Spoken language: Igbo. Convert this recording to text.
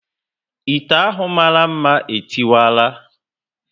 Ite ahụ mara mma e tiwara